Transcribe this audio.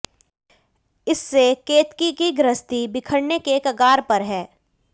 इससे केतकी की गृहस्थी बिखरने के कगार पर है